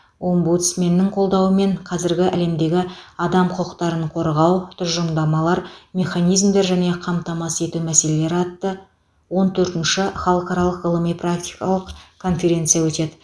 омбудсменнің қолдауымен қазіргі әлемдегі адам құқықтарын қорғау тұжырымдамалар механизмдер және қамтамасыз ету мәселелері атты он төртінші халықаралық ғылыми практикалық конференция өтеді